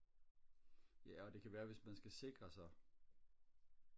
ja og det kan være at hvis man skal sikre sig